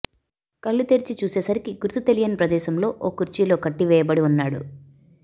కళ్లు తెరిచి చూసేసరికి గుర్తుతెలియని ప్రదేశంలో ఓ కుర్చీలో కట్టివేయబడి ఉన్నాడు